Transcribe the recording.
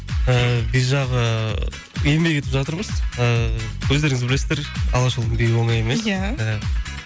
ыыы би жағы еңбек етіп жатырмыз ыыы өздеріңіз білесіздер алашұлының биі оңай емес иә